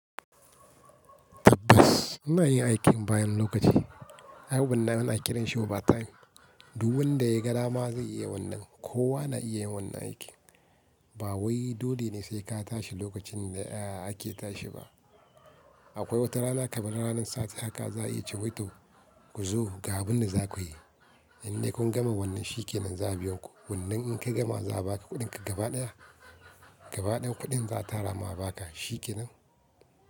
Tabbas muna yin aikin bayan lokaci. Ai wannan ana kiran shi overtime. Duk wanda ya ga dama zai iya wannan. Kowa na iya yin wannan aikin. Ba wai dole ne sai ka tashi lokacin da ake tashi ba. Akwai wata rana kamar ranan sati haka za a iya cewa "to ku zo ga abin da za ku yi". Indai kun gama wannan shikenan za'a biya ku. Wannan in ka gama za a baka kuɗinka gabaɗaya. Gabaɗaya kuɗin za a tara ma a baka. Shikenan.